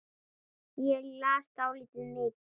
Ég las dálítið mikið.